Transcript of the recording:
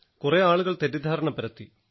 കുറെ ആളുകൾ തെറ്റിദ്ധാരണ പരത്തി